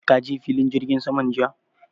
Ka je filin jirgin saman jiya?